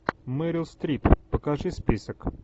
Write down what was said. мэрил стрип покажи список